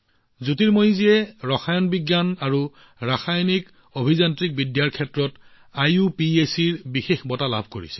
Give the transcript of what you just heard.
জ্যোতিৰ্ময়ীয়ে ৰসায়ন বিজ্ঞান আৰু ৰাসায়নিক অভিযান্ত্ৰিকৰ ক্ষেত্ৰত আইইউপিএচিৰ পৰা এটা বিশেষ বঁটা লাভ কৰিছে